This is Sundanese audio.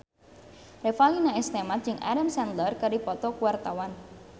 Revalina S. Temat jeung Adam Sandler keur dipoto ku wartawan